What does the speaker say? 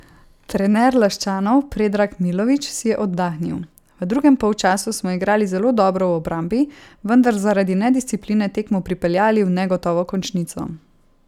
Trener Laščanov Predrag Milović si je oddahnil: 'V drugem polčasu smo igrali zelo dobro v obrambi, vendar zaradi nediscipline tekmo pripeljali v negotovo končnico.